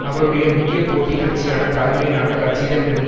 அவருடைய முக்கிய போட்டி கட்சியான தலைமையிலான கட்சியிடமிருந்து